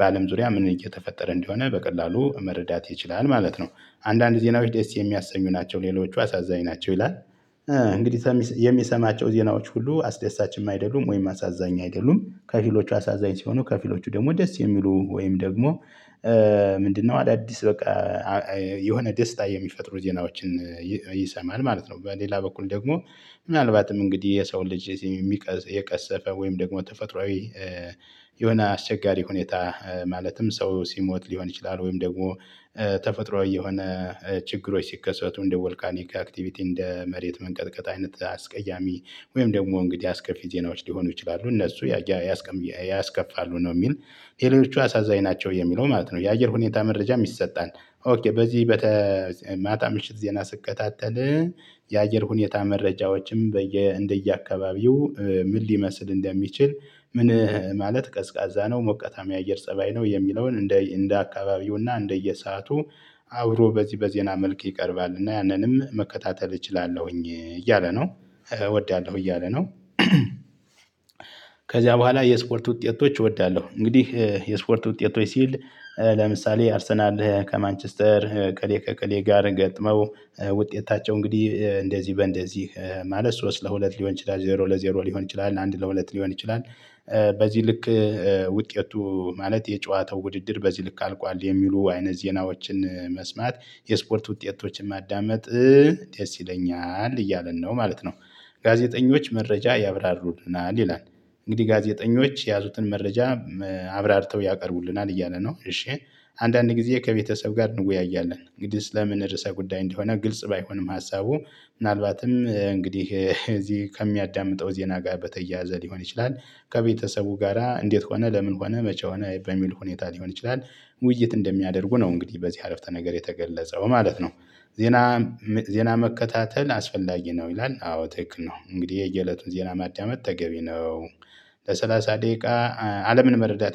በአለም ዙሪያ ምን እየተፈጠረ እንደሆነ በቀላሉ መረዳት ይችላል ማለት ነው። አንዳንድ ዜናዎች ደስ የሚያሰኙ ናቸው ሌሎቹ አሳዛኝ ናቸው ይላል። እንግዲህ የሚሰማቸው ዜናዎች ሁሉ አስደሳችም አይደሉም ወይም አሳዛኝ አይደሉም ከፊሎቹ አሳዛኝ ሲሆኑ ከፊሎቹ ደግሞ ደስ የሚሉ ወይም ደግሞ ምንድነው አዳዲስ በቃ የሆነ ደስታ የሚፈጥሩ ዜናዎችን ይሰማል ማለት ነው። በሌላ በኩል ደግሞ ምናልባትም እንግዲህ የሰው ልጅ የቀሰፈ ወይም ደግሞ ተፈጥሮአዊ የሆነ አስቸጋሪ ሁኔታ ማለትም ሰው ሲሞት ሊሆን ይችላል። ወይም ደግሞ ተፈጥሮአዊ የሆነ ችግሮች ሲከሰቱ እንደ ቮልካኒክ አክቲቪቲ እንደ መሬት መንቀጥቀጥ አይነት አስቀያሚ ወይም ደግሞ እንግዲህ አስከፊ ዜናዎች ሊሆኑ ይችላሉ። እነሱ ያስከፋሉ ነው የሚል ሌሎቹ አሳዛኝ ናቸው የሚለው ማለት ነው የአየር ሁኔታ መረጃ ይሰጣል። ኦኬ በዚህ በተ ማታ ምሽት ዜና ስትከታተል። የአየር ሁኔታ መረጃዎችም በየ እንደየአካባቢው ምን ሊመስል እንደሚችል ምን ማለት ቀዝቃዛ ነው ሞቃታማ አየር ፀባይ ነው የሚለውን እንደ እንደ አካባቢው እና እንደየሰአቱ አብሮ በዚህ በዜና መልክ ይቀርባል እና ያንንም መከታተል እችላለሁኝ እያለ ነው። እወዳለሁ እያለ ነው። ከዚያ በኋላ የስፖርት ውጤቶች እወዳለሁ እንግዲህ የስፖርት ውጤቶች ሲል ለምሳሌ አርሰናል ከማንችስተር እከሌ ከእከሌ ጋር ገጥመው ውጤታቸው እንግዲህ እንደዚህ በእንደዚህ ማለት ሶስት ለሁለት ሊሆን ይችላል ዜሮ ለዜሮ ሊሆን ይችላል አንድ ለሁለት ሊሆን ይችላል። በዚህ ልክ ውጤቱ ማለት የጨዋታው ውድድር በዚህ ልክ አልቋል የሚሉ አይነ ዜናዎችን መስማት የስፖርት ውጤቶችን ማዳመጥ ደስ ይለኛል እያልን ነው ማለት ነው። ጋዜጠኞች መረጃ ያብራርሩናል ይላል። እንግዲህ ጋዜጠኞች የያዙትን መረጃ አብራርተው ያቀርቡልናል እያለ ነው። እሺ አንዳንዴ ጊዜ ከቤተሰብ ጋር እንወያያለን እንግዲህ ስለምን ርዕሰ ጉዳይ እንደሆነ ግልጽ ባይሆንም ሀሳቡ ምናልባትም እንግዲህ እዚህ ከሚያዳምጠው ዜና ጋር በተያያዘ ሊሆን ይችላል። ከቤተሰቡ ጋራ እንዴት ሆነ ለምን ሆነ መቼ ሆነ በሚል ሁኔታ ሊሆን ይችላል። ውይይት እንደሚያደርጉ ነው እንግዲህ በዚህ አረፍተ ነገር የተገለጸው ማለት ነው። ዜና ዜና መከታተል አስፈላጊ ነው ይላል። አዎ ትክክል ነው። እንግዲህ የየእለቱን ዜና ማዳመጥ ተገቢ ነው። ለሠላሳ ደቂቃ አለምን መረዳት